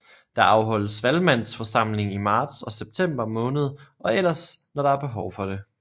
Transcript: Der afholdes Valgmandsforsamling i marts og september måned og ellers når der behov for det